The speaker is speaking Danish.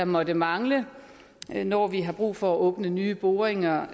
måtte mangle når vi har brug for at åbne nye boringer